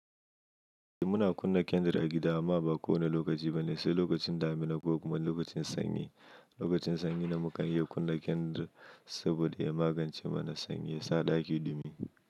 Muna kunna kendir a gida amma ba kowane lokaci ba ne, sai lokacin damina ko kuma lokacin sanyi. Lokacin sanyi ne mukan iya kunna kendir saboda ya magance mana sanyi, ya sa ɗaki dumi.